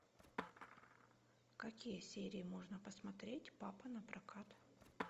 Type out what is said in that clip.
какие серии можно посмотреть папа напрокат